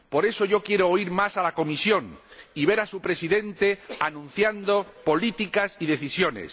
Por eso, yo quiero oír más a la Comisión y ver a su Presidente anunciando políticas y decisiones